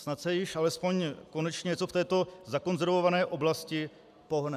Snad se již alespoň konečně něco v této zakonzervované oblasti pohne.